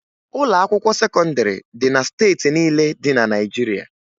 Ụlọakwụkwọ sekọndịrị dị na steeti niile dị na Naịjirịa